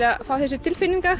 að fá þessa tilfinningu